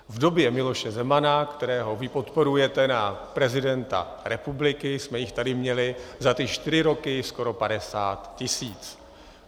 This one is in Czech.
V době Miloše Zemana, kterého vy podporujete na prezidenta republiky, jsme jich tady měli za ty čtyři roky skoro 50 tisíc.